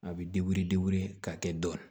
A bɛ degere ka kɛ dɔni